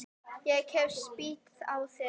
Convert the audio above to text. Ég hef spýtt á þig.